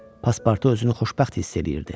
Paspartu özünü xoşbəxt hiss eləyirdi.